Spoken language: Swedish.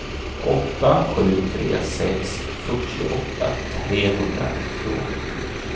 åtta sju tre sex fyrtioåtta trehundranittioåtta